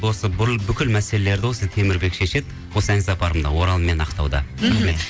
осы бүкіл мәселелерді осы темірбек шешеді осы ән сапарымды орал мен ақтауда мхм